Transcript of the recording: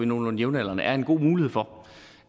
nogenlunde jævnaldrende er en god mulighed for